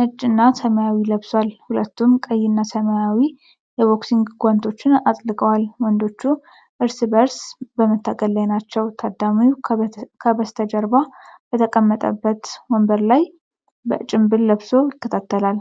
ነጭና ሰማያዊ ለብሷል። ሁለቱም ቀይ እና ሰማያዊ የቦክሲንግ ጓንቶች አጥልቀዋል። ወንዶቹ እርስ በእርስ በመታገል ላይ ናቸው። ታዳሚው ከበስተጀርባ በተቀመጠበት ወንበር ላይ ጭምብል ለብሶ ይከታተላል።